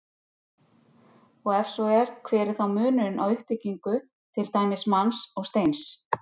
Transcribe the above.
Og ef svo er, hver er þá munurinn á uppbyggingu til dæmis manns og steins?